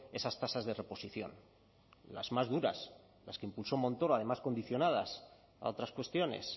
esas tasas de reposición las más duras las que impulsó montoro además condicionadas a otras cuestiones